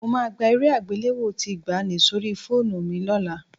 Mo máa gba eré àgbéléwò tí ìgbàanì sórí fóònù mi lọ́la